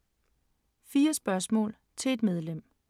4 spørgsmål til et medlem